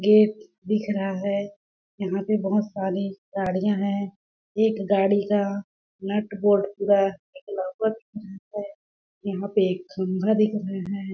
Gate दिख रहा है जहाँ पे बहुत सारी गाड़िया है एक गाड़ी का नटवाल्ट पूरा निकला हुआ है यहाँ पे एक खम्भा दिख रहा है।